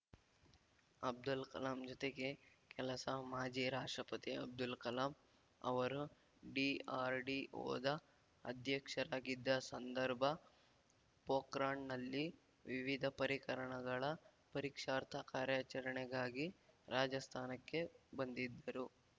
ಅಬ್ದುಲ್‌ ಕಲಾಂ ಜೊತೆಗೆ ಕೆಲಸ ಮಾಜಿ ರಾಷ್ಟ್ರಪತಿ ಅಬ್ದುಲ್‌ ಕಲಾಂ ಅವರು ಡಿಆರ್‌ಡಿಓದ ಅಧ್ಯಕ್ಷರಾಗಿದ್ದ ಸಂದರ್ಭ ಪೋಖ್ರಾಣ್‌ನಲ್ಲಿ ವಿವಿಧ ಪರಿಕರಗಳ ಪರೀಕ್ಷಾರ್ಥ ಕಾರ್ಯಾಚರಣೆಗಾಗಿ ರಾಜಸ್ಥಾನಕ್ಕೆ ಬಂದಿದ್ದರು